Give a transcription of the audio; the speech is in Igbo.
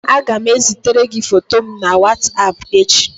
Aga m ezitere gi foto m na whatapp echi